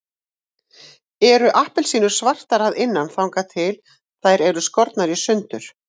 Eru appelsínur svartar að innan þangað til þær eru skornar í sundur?